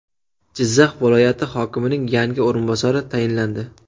Jizzax viloyati hokimining yangi o‘rinbosari tayinlandi.